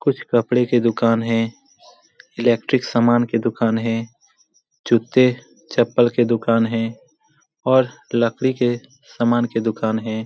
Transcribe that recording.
कुछ कपड़े के दुकान है। इलेक्ट्रिक समान के दुकान है जूते चप्पल की दुकान है और लकड़ी के समान के दुकान है।